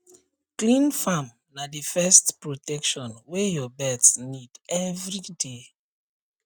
clean farm na the first protection wey your birds need every day